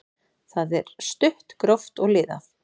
Það er stutt, gróft og liðað.